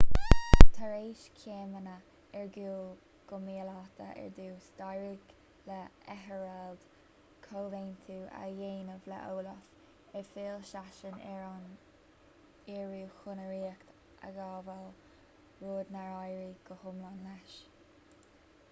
tar éis céimeanna ar gcúl go míleata ar dtús d'éirigh le ethelred comhaontú a dhéanamh le olaf ar fhill seisean ar an iorua chun a ríocht a ghabháil rud nár éirigh go hiomlán leis